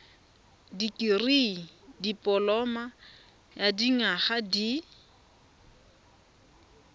dikirii dipoloma ya dinyaga di